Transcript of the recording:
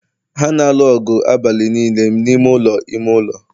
ha na-alụ ọgụ abalị niile n'ime ụlọ ime ụlọ